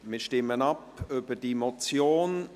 Wir stimmen über die Motion